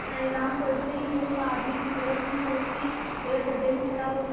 तेनालीराम को ऐसे ही मूर्ख आदमी की जरूरत थी जो उसकी जगह गड्ढे में खड़ा हो जाए